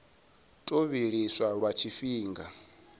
tou zwi vhilisa lwa tshifhinga